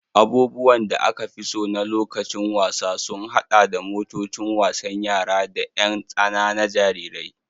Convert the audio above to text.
Abubuwan da aka fi so na lokacin wasa sun haɗa da motocin wasan yara da ƴan tsana na jarirai.